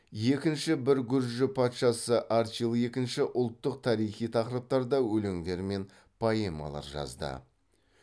екінші бір гүржі патшасы арчил екі ұлттық тарихи тақырыптарда өлеңдер мен поэмалар жазды